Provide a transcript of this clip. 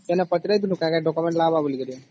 କେନେ ପଚରିଥିଲୁ କା କା document ଲାଗିବ ବୋଲି ?